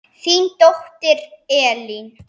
Þín dóttir, Elín.